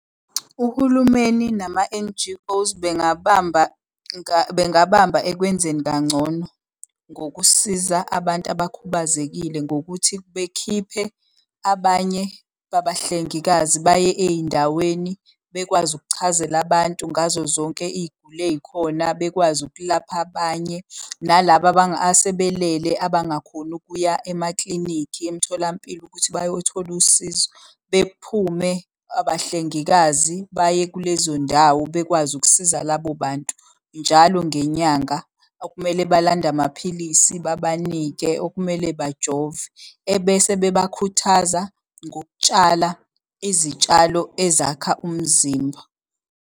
Uhulumeni nama-N_G_Os bengabamba bengabamba ekwenzeni kangcono ngokusiza abantu abakhubazekile ngokuthi bekhiphe abanye babahlengikazi baye ey'ndaweni, bekwazi ukuchazela abantu ngazo zonke iy'guli ey'khona. Bekwazi ukulapha abanye, nalaba asebelele abangakhoni ukuya emaklinikhi, emtholampilo ukuthi bayothola usizo. Bephume abahlengikazi baye kulezo ndawo bekwazi ukusiza labo bantu. Njalo ngenyanga okumele balande amaphilisi babanike, okumele bajove, ebese bebakhuthaza ngokutshala izitshalo ezakha umzimba.